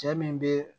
Cɛ min bɛ